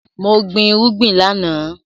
Mo gbin irúgbìn láàná